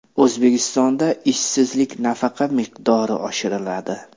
O‘zbekistonda ishsizlik nafaqasi miqdori oshiriladi.